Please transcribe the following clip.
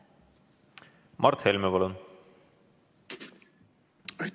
Mart Helme, palun!